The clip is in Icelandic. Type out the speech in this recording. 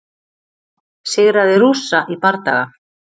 Sigraði Rússa í bardaga